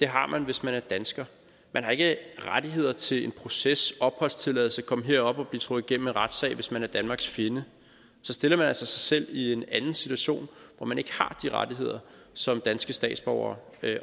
har man hvis man er dansker man har ikke rettigheder til en proces opholdstilladelse komme herop og blive trukket igennem en retssag hvis man er danmarks fjende så stiller man altså sig selv i en anden situation hvor man ikke har de rettigheder som danske statsborgere